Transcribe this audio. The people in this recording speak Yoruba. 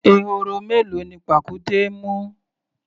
Ehoro mélòó ni pàkúté mú?